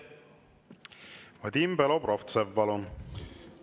Vadim Belobrovtsev, palun!